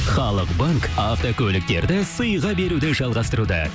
халық банк автокөліктерді сыйға беруді жалғастыруда